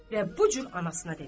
Və bu cür anasına dedi: